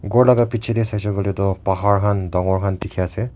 ghor laka bichae tae saishey koilae tu pahar khan dangor dikhiase.